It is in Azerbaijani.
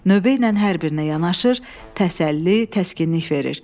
Növbə ilə hər birinə yanaşır, təsəlli, təskinlik verir.